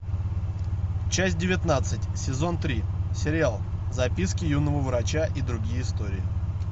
часть девятнадцать сезон три сериал записки юного врача и другие истории